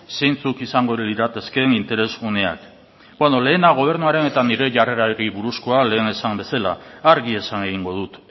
zeintzuk izango liratekeen interes guneak beno lehena gobernuaren eta nire jarrerari buruzkoa lehen esan bezala argi esan egingo dut